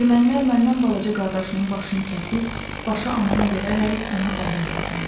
Ermənilər məndən balaca qardaşımın başını kəsib, başı anama verərək onu dəli elədilər.